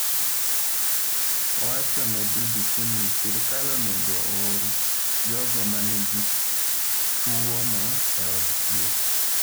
Owacho ne BBC ni, “Sirkal onego oor jogo ma nigi tuwono e od thieth.”